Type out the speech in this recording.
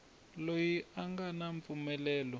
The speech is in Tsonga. loyi a nga na mpfumelelo